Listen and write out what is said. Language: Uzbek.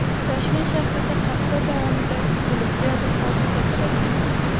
Toshkent shahrida hafta davomida bulutli ob-havo kuzatiladi.